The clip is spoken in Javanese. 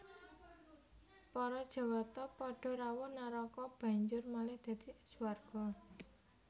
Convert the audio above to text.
Para Jawata padha rawuh naraka banjur malih dadi swarga